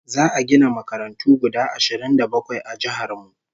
Za'a gina makarantu guda ashirin da bakwai a jihar mu